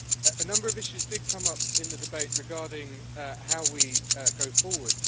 A number of issues did come up in the debate regarding how we go forward.